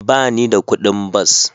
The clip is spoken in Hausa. Ba ni da kuɗin bas.